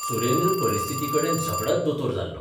सुरेंद्र परिस्थितीकडेन झगडत दोतोर जाल्लो.